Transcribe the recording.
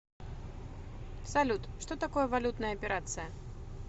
салют что такое валютная операция